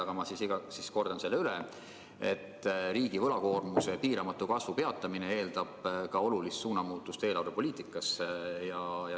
Ma siis ütlen selle ära: riigi võlakoormuse piiramatu kasvu peatamine eeldab ka olulist suunamuutust eelarvepoliitikas.